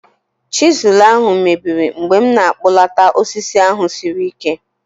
Chizụl ahụ mebiri mgbe m na-akpụlata osisi ahụ siri ike